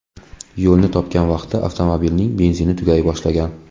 Yo‘lni topgan vaqtda avtomobilining benzini tugay boshlagan.